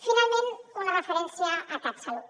finalment una referència a catsalut